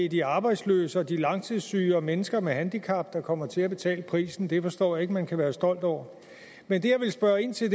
er de arbejdsløse og de langtidssyge og mennesker med handicap der kommer til at betale prisen det forstår jeg man kan være stolt over men det jeg ville spørge ind til